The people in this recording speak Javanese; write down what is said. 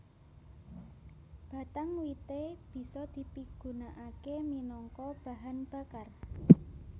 Batang wité bisa dipigunakaké minangka bahan bakar